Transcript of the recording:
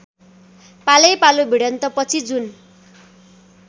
पालैपालो भिडन्तपछि जुन